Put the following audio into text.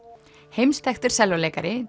heimsþekktur sellóleikari